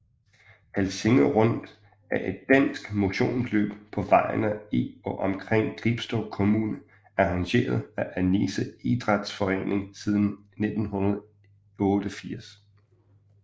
Helsinge Rundt er et dansk motionsløb på vejene i og omkring Gribskov Kommune arrangeret af Annisse Idrætsforening siden 1988